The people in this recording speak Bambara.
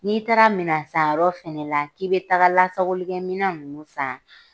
N'i taara minan san yɔrɔ fana la, k'i be taga lasago minan nunnu san